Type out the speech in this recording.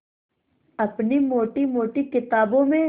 अपनी मोटी मोटी किताबों में